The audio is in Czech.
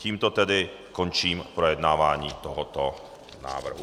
Tímto tedy končím projednávání tohoto návrhu.